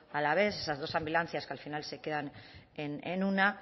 alavés esas dos ambulancias que al final se quedan en una